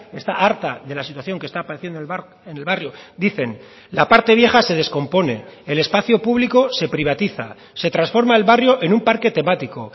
está harta de la situación que está padeciendo en el barrio dicen la parte vieja se descompone el espacio público se privatiza se transforma el barrio en un parque temático